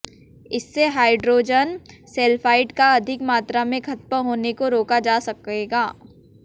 इससे hydrogen sulphide का अधिक मात्रा में खत्म होने को रोका जा सकेगा